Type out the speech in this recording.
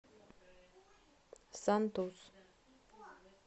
сантус